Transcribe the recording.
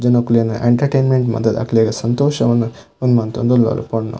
ಜನೊಕ್ಲೆನ entertainment ಮಂತುದು ಅಕ್ಲೆಗ್ ಸಂತೋಷ ವನ್ ಉಂದು ಮಂತೊಂದುಲ್ಲಲ್ ಪೊನ್ನು.